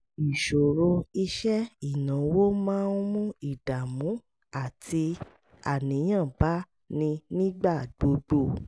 ìṣòro iṣẹ́ ìnáwó máa ń mú ìdààmú àti àníyàn bá ni nígbà gbogbo